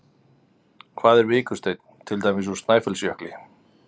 Hvað er vikursteinn, til dæmis úr Snæfellsjökli?